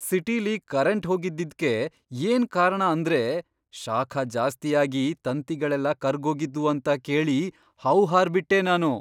ಸಿಟಿಲಿ ಕರೆಂಟ್ ಹೋಗಿದ್ದಿದ್ಕೆ ಏನ್ ಕಾರಣ ಅಂದ್ರೆ ಶಾಖ ಜಾಸ್ತಿ ಆಗಿ ತಂತಿಗಳೆಲ್ಲ ಕರ್ಗೋಗಿದ್ವು ಅಂತ ಕೇಳಿ ಹೌಹಾರ್ಬಿಟ್ಟೆ ನಾನು!